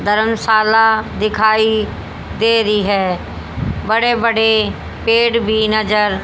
धर्मशाला दिखाई दे रही है बड़े बड़े पेड़ भी नजर--